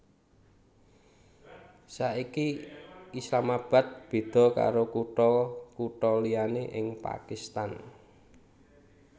Saiki Islamabad béda karo kutha kutha liyané ing Pakistan